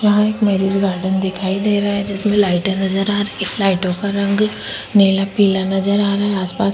यहाँ एक marriage garden दिखाई दे रहा है जिसमे लाइटे नज़र आ रही है लाइटो का रंग नीला पीला नज़र आ रहा है आसपास --